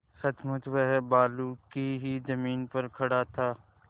सचमुच वह बालू की ही जमीन पर खड़ा था